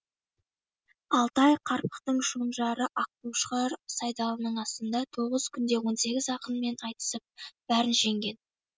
алтай қарпықтың шонжары аққошқар сайдалының асында тоғыз күнде он сегіз ақынмен айтысып бәрін жеңген